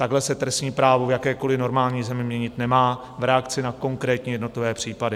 Takhle se trestní právo v jakékoliv normální zemi měnit nemá - v reakci na konkrétní jednotlivé případy.